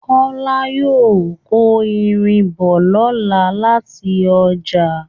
Kọ́lá yóò kó irin bọ̀ lọ́la láti ọjà